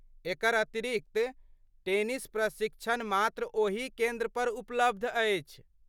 एकर अतिरिक्त, टेनिस प्रशिक्षण मात्र ओही केन्द्रपर उपलब्ध अछि।